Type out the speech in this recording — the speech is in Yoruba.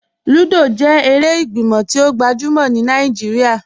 Lúdọ́ jẹ èrè ìgbímọ̀ tí o gbajúmọ̀ ní Naijíríà.